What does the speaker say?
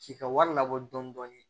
K'i ka wari labɔ dɔɔni dɔɔni